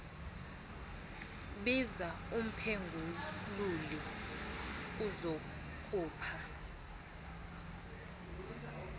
biza umphengululi azokukha